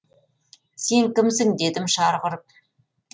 сен кімсің дедім шарқ ұрып